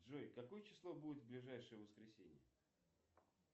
джой какое число будет в ближайшее воскресенье